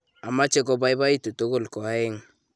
ameche kobaibaitu tugul ko oeng'